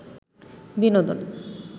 বিনোদন